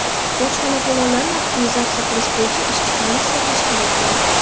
Bojxona to‘lovlarini optimizatsiya qilish bo‘yicha ishchi komissiya tashkil etildi.